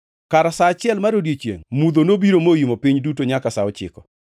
Kar sa auchiel mar odiechiengʼ, mudho nobiro moimo piny duto nyaka sa ochiko.